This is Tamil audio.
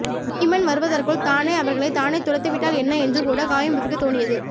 வீமன் வருவதற்குள் தானே அவர்களைத் தானே துரத்திவிட்டால் என்ன என்று கூடக் காயாம்புவிற்குத் தோணியது